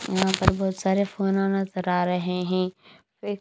यहां पर बहोत सारे फोना नजर आ रहे है वे--